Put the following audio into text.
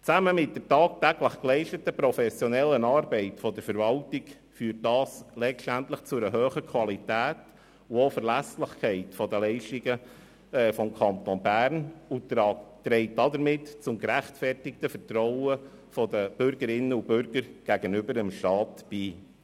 Zusammen mit der tagtäglich geleisteten professionellen Arbeit der Verwaltung führt das letztendlich zu einer hohen Qualität und auch Verlässlichkeit der Leistungen des Kantons Bern und trägt somit zum gerechtfertigten Vertrauen der Bürgerinnen und Bürger gegenüber dem Staat bei.